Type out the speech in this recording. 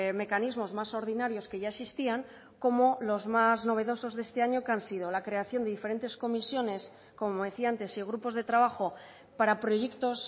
mecanismos más ordinarios que ya existían como los más novedosos de este año que han sido la creación diferentes comisiones como decía antes y grupos de trabajo para proyectos